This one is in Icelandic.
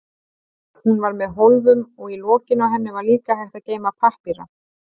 Hún var með hólfum og í lokinu á henni var líka hægt að geyma pappíra.